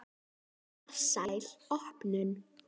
Farsæl opnun.